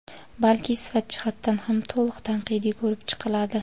balki sifat jihatdan ham to‘liq tanqidiy ko‘rib chiqiladi.